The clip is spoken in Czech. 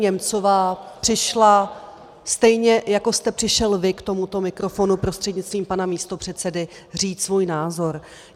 Němcová přišla stejně, jako jste přišel vy k tomuto mikrofonu, prostřednictvím pana místopředsedy, říct svůj názor.